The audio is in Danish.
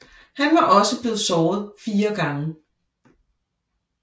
Han var også blevet såret fire gange